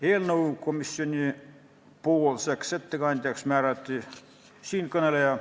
Eelnõu komisjonipoolseks ettekandjaks määrati siinkõneleja.